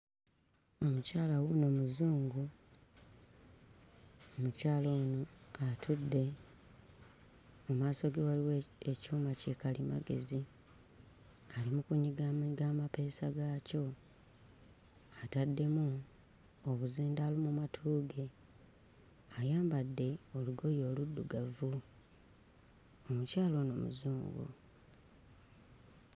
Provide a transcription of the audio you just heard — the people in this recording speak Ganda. Omukyala wuuno muzungu. Omukyala ono atudde mu maaso ge waliwo ekyuma kikalimagezi ali mu kunyigaanyiga amapeesa gaakyo ataddemu obuzindaalo mu matu ge. Ayambadde olugoye oluddugavu. Omukyala ono muzungu.